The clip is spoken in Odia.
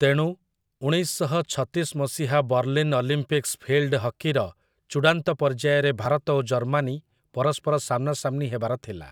ତେଣୁ, ଉଣେଇଶ ଶହ ଛତିଶ ମସିହା ବର୍ଲିନ୍ ଅଲିମ୍ପିକ୍ସ୍ ଫିଲ୍‌ଡ ହକିର ଚୂଡ଼ାନ୍ତ ପର୍ଯ୍ୟାୟରେ ଭାରତ ଓ ଜର୍ମାନୀ ପରସ୍ପର ସାମ୍ନାସାମ୍ନି ହେବାର ଥିଲା ।